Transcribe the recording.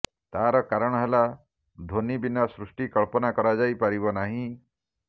ତାର କାରଣ ହେଲା ଧ୍ୱନି ବିନା ସୃଷ୍ଟି କଳ୍ପନା କରାଯାଇପାରିବ ନାହିଁ